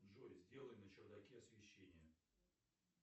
джой сделай на чердаке освещение